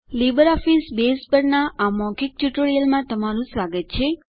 LibreOffice Base પરનાં આ મૌખિક ટ્યુટોરીયલમાં તમારું સ્વાગત છે